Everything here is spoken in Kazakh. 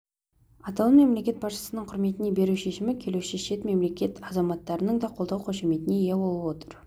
атауын мемлекет басшысының құрметіне беру шешімі келуші шет мемлекет азаматтарының да қолдау-қошеметіне ие болып отыр